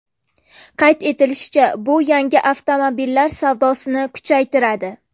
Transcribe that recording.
Qayd etilishicha, bu yangi avtomobillar savdosini kuchaytiradi.